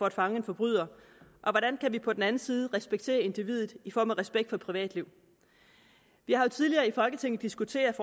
at fange en forbryder og hvordan kan vi på den anden side respektere individet i form af respekt for privatliv vi har jo tidligere i folketinget diskuteret